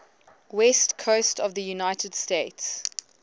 west coast of the united states